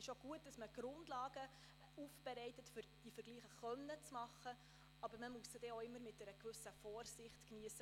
Es ist auch gut, dass man die Grundlagen aufbereitet, um diese Vergleiche anstellen zu können, aber man muss sie auch immer mit einer gewissen Vorsicht geniessen.